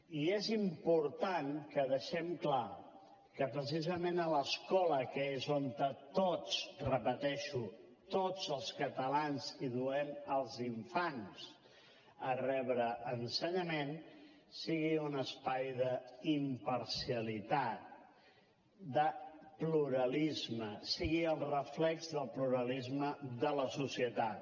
i és important que deixem clar que precisament a l’escola que és on tots ho repeteixo tots els catalans hi duem els infants a rebre ensenyament sigui un espai d’imparcialitat de pluralisme sigui el reflex del pluralisme de la societat